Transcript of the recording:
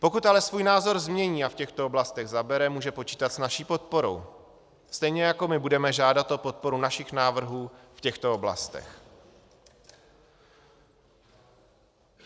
Pokud ale svůj názor změní a v těchto oblastech zabere, může počítat s naší podporou, stejně jako my budeme žádat o podporu našich návrhů v těchto oblastech.